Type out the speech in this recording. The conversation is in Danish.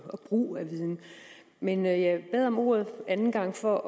og brug af viden men jeg bad om ordet anden gang for